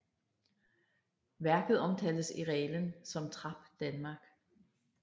Værket omtales i reglen som Trap Danmark